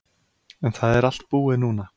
En það er allt búið núna.